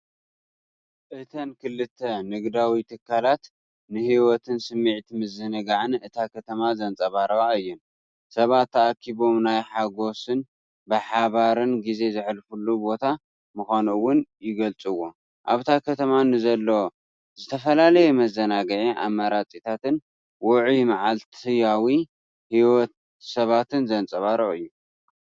እተን ክልተ ንግዳዊ ትካላት ንህይወትን ስምዒት ምዝንጋዕን እታ ከተማ ዘንጸባርቓ እየን። ሰባት ተኣኪቦም ናይ ሓጎስን ብሓባርን ግዜ ዘሕልፉሉ ቦታ ምዃኑ እውን ይገልጽዎ። ኣብታ ከተማ ንዘሎ ዝተፈላለየ መዘናግዒ ኣማራጺታትን ውዑይ መዓልታዊ ህይወት ሰባትን ዘንጸባርቕ እዩ።